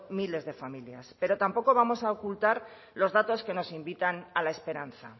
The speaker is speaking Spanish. miles de familias pero tampoco vamos a ocultar los datos que nos invitan a la esperanza